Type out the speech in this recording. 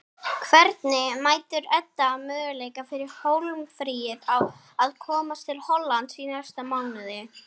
Hvernig metur Edda möguleika fyrir Hólmfríði á að komast til Hollands í næsta mánuði?